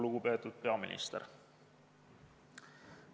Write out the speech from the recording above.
Lugupeetud peaminister!